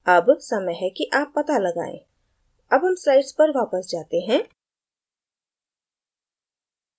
अब समय है कि आप it लगाएँ अब हम slides पर जाते हैं